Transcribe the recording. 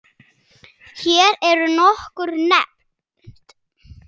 Hér eru nokkur nefnd